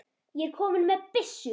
ég er kominn með byssu!